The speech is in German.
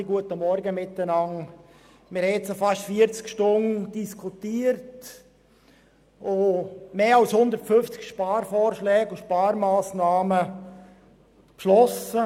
Wir haben jetzt fast 40 Stunden lang diskutiert und mehr als 150 Sparvorschläge und Sparmassnahmen beschlossen.